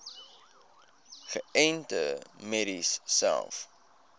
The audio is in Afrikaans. geënte merries selfs